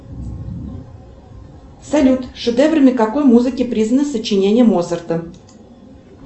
салют шедеврами какой музыки признаны сочинения моцарта